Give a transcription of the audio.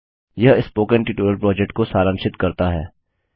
यह spoken tutorial project को सारांशित करता है